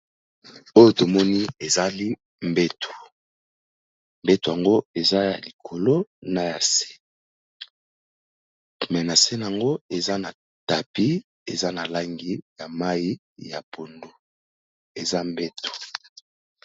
Oyo tomoni ezali mbetu, mbetu yango eza ya likolo na ya se. Mais na se nango eza na tapis eza na langi ya mayi ya pondu, eza mbetu.